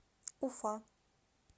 уфа